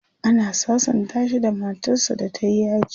ana sasanta shi da matar sa da tayi yaji